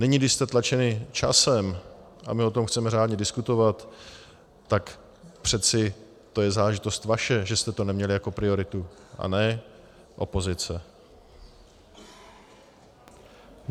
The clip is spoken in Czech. Nyní, když jste tlačeni časem a my o tom chceme řádně diskutovat, tak přeci to je záležitost vaše, že jste to neměli jako prioritu, a ne opozice.